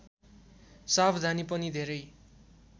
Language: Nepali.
सावधानी पनि धेरै